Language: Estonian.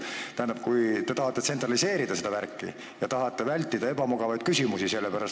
Te tahate seda värki tsentraliseerida ja tahate vältida ebamugavaid küsimusi.